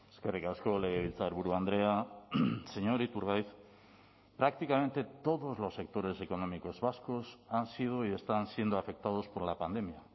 eskerrik asko legebiltzarburu andrea señor iturgaiz prácticamente todos los sectores económicos vascos han sido y están siendo afectados por la pandemia